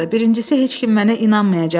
Birincisi heç kim mənə inanmayacaqdı.